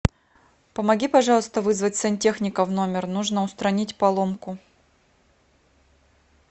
помоги пожалуйста вызвать сантехника в номер нужно устранить поломку